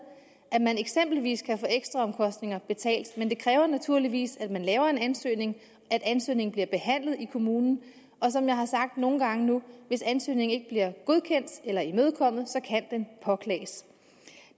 at man eksempelvis kan få ekstraomkostninger betalt men det kræver naturligvis at man laver en ansøgning og at ansøgningen bliver behandlet i kommunen og som jeg har sagt nogle gange nu hvis ansøgningen ikke bliver godkendt eller imødekommet kan den påklages